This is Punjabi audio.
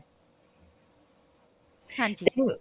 ਹਾਂਜੀ